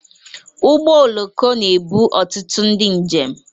Ụgbọ oloko na-ebu ọtụtụ ndị njem.